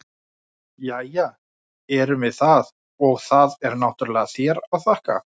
Jæja, erum við það, og það er náttúrlega þér að þakka!